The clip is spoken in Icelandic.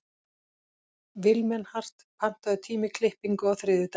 Vilmenhart, pantaðu tíma í klippingu á þriðjudaginn.